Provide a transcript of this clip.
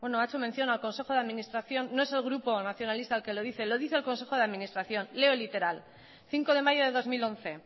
ha hecho mención al consejo de administración no es el grupo nacionalista el que lo dice lo dice el consejo de administración leo literal cinco de mayo de dos mil once